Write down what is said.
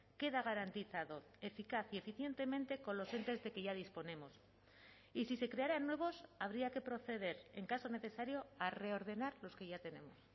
queda garantizado eficaz y eficientemente con los entes de que ya disponemos y si se crearan nuevos habría que proceder en caso necesario a reordenar los que ya tenemos